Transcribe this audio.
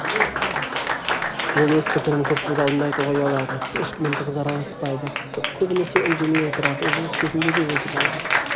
ол өз пікірін көпшілік алдында айтуға ұялады ешкіммен тығыз араласпайды көбінесе үндемей отырады үзіліс кезінде де өзі жалғыз